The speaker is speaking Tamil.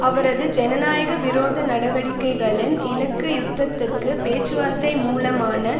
அவரது ஜனநாயக விரோத நடவடிக்கைகளின் இலக்கு யுத்தத்துக்கு பேச்சுவார்த்தை மூலமான